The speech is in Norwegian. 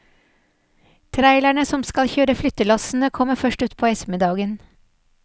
Trailerne som skal kjøre flyttelassene kommer først utpå ettermiddagen.